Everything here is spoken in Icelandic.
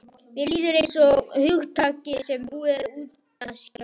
Mér líður einsog hugtaki sem búið er að útjaska.